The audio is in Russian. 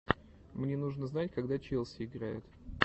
мне нужно знать когда челси играет